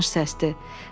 Tanış səsdi.